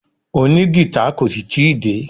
Òní gìtá kò ì tí ì dé.